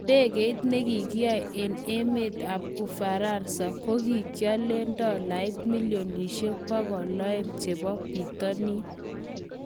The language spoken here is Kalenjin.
Idegeit nekikiyoe eng emet ab Ufaransa kokikiolen dolait milionishek 200 chebo Bitonin